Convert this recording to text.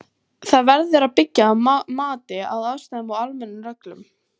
Það verður að byggja á mati á aðstæðum og almennum reglum.